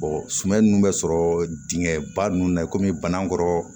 suman nunnu bɛ sɔrɔ dingɛ ba nun na i kɔmi bana kɔrɔ